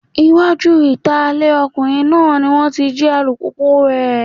Iwájú ìta ilé ọkùnrin náà ni wọ́n ti jí alùpùpùu rẹ̀.